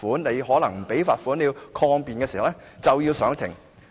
如果你不繳交罰款和要抗辯，便須上庭。